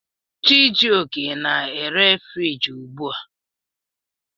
Chijioke na-ere friji ugbu a.